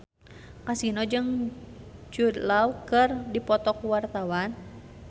Kasino jeung Jude Law keur dipoto ku wartawan